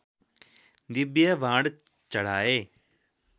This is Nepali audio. दिव्य बाण चढाए